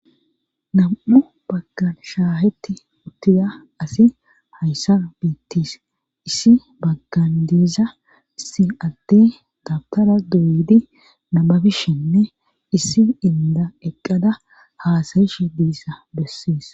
nam'u baggan shaaheti uttida asi hayssan bettes issi baggan diiza issi adde dabitara doyidii nababishenne issi inda eqqada haasayishe diissa besses